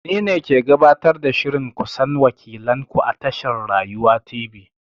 Ni ne ke gabatar da shirin ku san wakilan ku a tashar Rayuwa Tv.